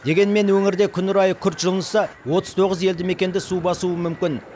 дегенмен өңірде күн райы күрт жылынса отыз тоғыз елді мекенді су басуы мүмкін